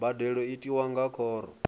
mbadelo i tiwa nga khoro